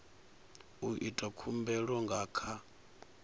u ita khumbelo nga kha